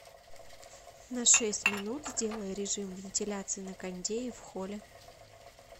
на шесть минут сделай режим вентиляции на кондее в холле